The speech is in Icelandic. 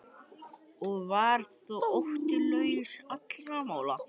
Og var þó Otti laus allra mála.